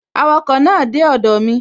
Awakọ̀ náà dé ọdọ̀ mi